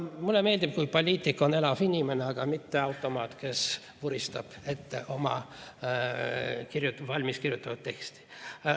Mulle meeldib, kui poliitik on elav inimene, mitte automaat, kes vuristab ette oma valmiskirjutatud teksti.